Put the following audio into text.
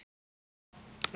Fregnir herma að.